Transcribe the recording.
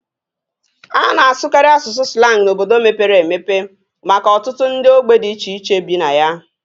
A na-asụkarị asụsụ slang n'obodo mepere emepe maka ọtụtụ ndị ogbe dị iche iche bi na ya